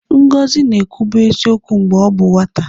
Ngọzi na-ekwubu eziokwu mgbe ọ bụ nwata.